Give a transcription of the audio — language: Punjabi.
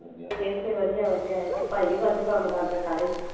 ਇੱਥੇ ਵਧੀਆ ਵਧੀਆ, ਭਾਈ ਵੀ ਕੰਮ ਕਰਦੇ ਸਾਰੇ।